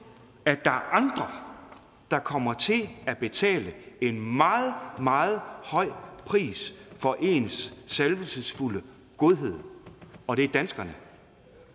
at er andre der kommer til at betale en meget meget høj pris for ens salvelsesfulde godhed og det er danskerne